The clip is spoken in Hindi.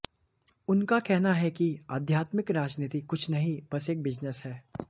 उनका कहना है कि आध्यात्मिक राजनीति कुछ नहीं बस एक बिजनेस है